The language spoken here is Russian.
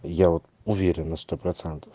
я уверен на сто процентов